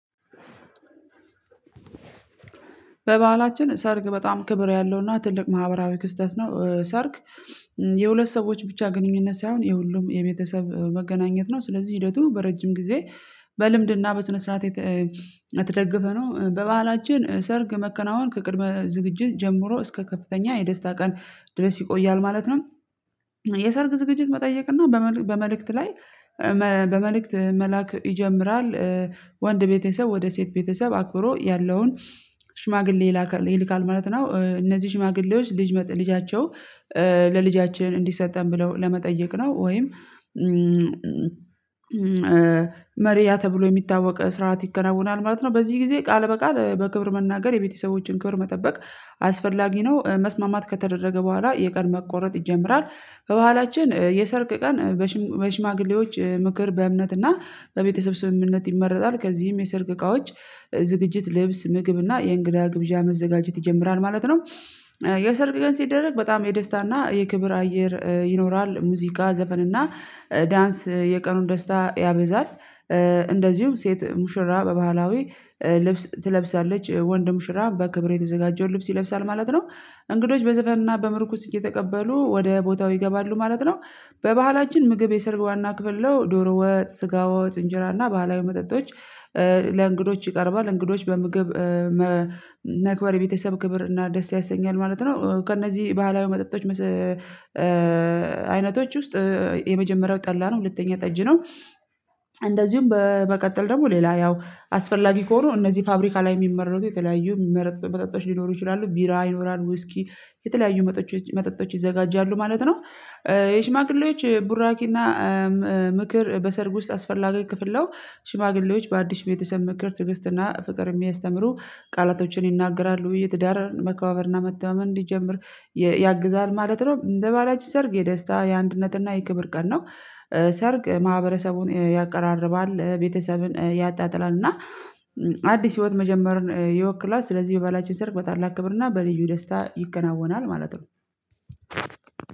በባህላችን ሰርግ በጣም ክብር ያለውና ትልቅ ማህበራዊ ክስተት ነው። እ ሰርግ የሁለት ሰዎች ብቻ ግንኙነት ሳይሆን የሁሉም የቤተሰብ እ መገናኘት ነው። ስለዚህ ሂደቱ በረጅም ጊዜ በልምድና በስነ ስርዓት የተ የተደገፈ ነው። እ በባህላችን እ ሰርግ መከናወን ከቅድመ ዝግጅት ጀምሮ እስከ ከፍተኛ የደስታ ቀን ድረስ ይቆያል ማለት ነው። የሰርግ ዝግጅት መጠየቅ እና በመል በመልእክት ላይ በመልእክት መላክ ይጀምራል። እ ወንድ ቤተሰብ ወደ ሴት ቤተሰብ አክብሮ ያለውን ሽማግሌ ይላካል ይልካል ማለት ነው። እ እነዚህ ሽማግሌዎች ልጅ ልጃቸው እ ለልጃችን እንዲሰጠን ብለው ለመጠየቅ ነው። ወይም እም መሪያ ተብሎ የሚታወቅ ስርዓት ይከናወናል ማለት ነው። በዚህ ጊዜ ቃል በቃል እ በክብር መናገር የቤተሰቦችን ክብር መጠበቅ አስፈላጊ ነው። እ መስማማት ከተደረገ በኋላ የቀን መቆረጥ ይጀምራል። ባህላችን እ የሰርግ እ ቀን በሽ በሽማግሌዎች እ ምክር በእምነትና በቤተሰብ ስምምነት ይመረጣል። ከዚህም የሰርግ እቃዎች ዝግጅት ልብስ ምግብ እና የእንግዳ ግብዣ መዘጋጀት ይጀምራል ማለት ነው። እ የሰርግ ቀን ሲደረግ በጣም የደስታ እና የክብር አየር ይኖራል ሙዚቃ ዘፈንና ዳንስ የቀኑን ደስታ ያበዛል። እ እንደዚሁም ሴት ሙሽራ በባህላዊ እ ልብስ ትለብሳለች ወንድ ሙሽራ በክብር የተዘጋጀውን ልብስ ይለብሳል ማለት ነው። እንግዶች በዘፈንና በምርኩስ እየተቀበሉ ወደ ቦታው ይገባሉ ማለት ነው። በባህላችን ምግብ የሰርግ ዋና ክፍል ነው ዶሮ ወጥ ስጋ ወጥ እንጀራ እና ባህላዊ መጠጦች እ ለእንግዶች ይቀርባል። እንግዶች በምግብ እ መ መክበር የቤተሰብ ክብር እና ደስ ያሰኛል ማለት ነው። ከእነዚህ ባህላዊ መጠጦች መስ እ እ እ አይነቶች ውስጥ የመጀመሪያው ጠላ ነው። ሁለተኛ ጠጅ ነው። እንደዚሁም በእ መቀጠል ደግሞ ሌላ ያው አስፈላጊ ከሆኑ እነዚህ ፋብሪካ ላይ የሚመረቱ የተለያዩ የሚመረጡ መጠጦ መጠጦቶች ሊኖሩ ይችላሉ ቢራ ይኖራል ውስኪ የተለያዩ መጠጦቶች መጠጦች ይዘጋጃሉ ማለት ነው። የሽማግሌዎች ቡራኪ እና እ እም ምክር በሰርግ ውስጥ አስፈላጊ ክፍል ነው። ሽማግሌዎች በአዲስ ቤተሰብ ምክር ትዕግስትና ፍቅር የሚያስተምሩ ቃላቶችን ይናገራሉ ውይይት ትዳርን መከባበርና መተማመን እንዲጀምር የ ያግዛል ማለት ነው። እንደ ባህላችን ሰርግ የደስታ የአንድነት እና የክብር ቀን ነው። ሰርግ እ ማህበረሰቡን እ ያቀራርባል እ ቤተሰብን እ ያጣጥላል እና አዲስ ህይወት መጀመርን እ ይወክላል። ስለዚህ በባህላችን ሰርግ በታላቅ ክብር እና በልዩ ደስታ ይከናወናል ማለት ነው።